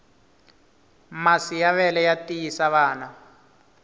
masi ya vele ya tiyisa vana